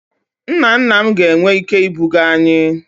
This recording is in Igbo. Nna nna m ka ga-enwe ike ibuga anyi